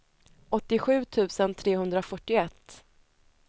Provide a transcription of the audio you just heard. åttiosju tusen trehundrafyrtioett